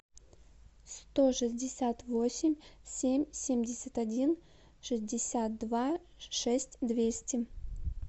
сто шестьдесят восемь семь семьдесят один шестьдесят два шесть двести